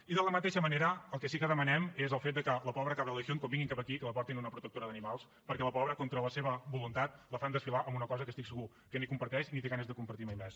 i de la mateixa manera el que sí que demanem és el fet que la pobra cabra de la legión quan vinguin cap aquí que la portin a una protectora d’animals perquè la pobra contra la seva voluntat la fan desfilar en una cosa que estic segur que ni comparteix ni té ganes de compartir mai més